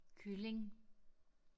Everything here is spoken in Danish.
Kylling